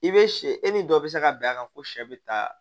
I bɛ sɛ e ni dɔ bɛ se ka bɛn a kan ko sɛ bɛ taa